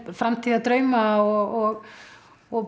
framtíðardrauma og og